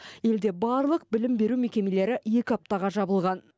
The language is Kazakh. елде барлық білім беру мекемелері екі аптаға жабылған